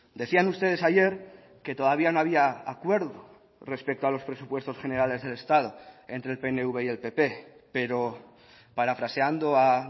decían ustedes ayer que todavía no había acuerdo respecto a los presupuestos generales del estado entre el pnv y el pp pero parafraseando a